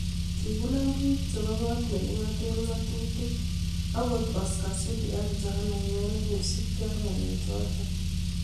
kikinam bik chebo kot nekingate ngatutik akot oscar sudi ak johana ngeno kosubkei ak ngalechotok